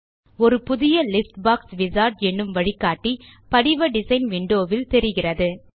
ஒரு புதிய list box wizard என்னும் வழிகாட்டி படிவ டிசைன் விண்டோ வில் தெரிகிறது